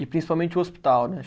E principalmente o hospital, né?